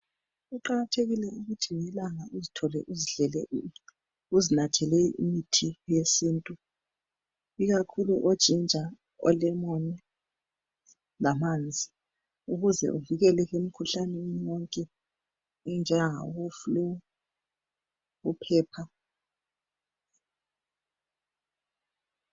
Kuqakathekile ukuthi ngelanga uzithole uzidlele uzinathela imithi yesintu ikakhulu o ginger olemon lamanzi ukuze uvikeleke emkhuhlaneni yonke enjengayaboflue uphepha